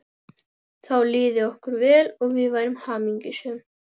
Þá liði okkur vel og við værum hamingjusöm.